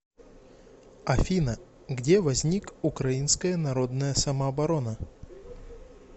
афина где возник украинская народная самооборона